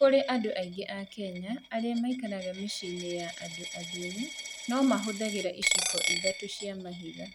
Kũrĩ andũ aingĩ a Kenya arĩa maikaraga mĩciĩ-inĩ ya andũ athĩni, no mahũthagĩra iciko ithatũ cia mahiga.